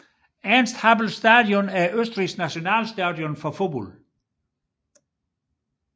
Ernst Happel Stadion er Østrigs nationalstadion for fodbold